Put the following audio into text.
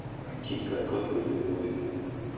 Skrifarinn kinkaði kolli við og við.